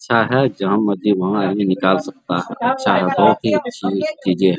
चाहे जहाँ मर्जी वहाँ आदमी निकाल सकता हैअच्छा है बहुत ही अच्छी चीजे है ।